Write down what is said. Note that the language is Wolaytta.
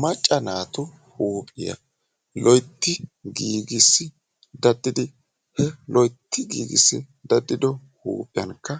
Macca naatu huuphiya loyitti giigissi daddidi he loyitti giigissi deddido huuphiyankka